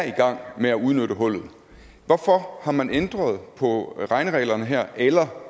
i gang med at udnytte hullerne hvorfor har man ændret på regnereglerne her eller